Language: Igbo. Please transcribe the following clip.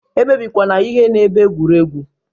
E mebikwana ihe n'ebe egwuregwu!